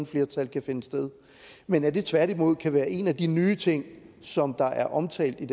flertal kan finde sted men at det tværtimod kan være en af de nye ting som der er omtalt i